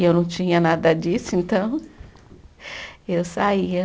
E eu não tinha nada disso, então eu saía.